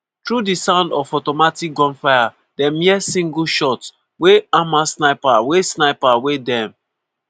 through di sound of automatic gunfire dem hear single shots wey hamas sniper wey sniper wey dem